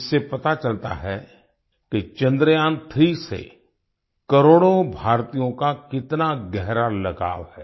इससे पता चलता है कि चंद्रयान3 से करोड़ों भारतीयों का कितना गहरा लगाव है